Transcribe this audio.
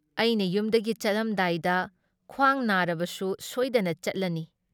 ꯑꯩꯅ ꯌꯨꯝꯗꯒꯤ ꯆꯠꯂꯝꯗꯥꯏꯗ ꯈ꯭ꯋꯥꯡ ꯅꯥꯔꯕꯁꯨ ꯁꯣꯏꯗꯅ ꯆꯠꯂꯅꯤ ꯫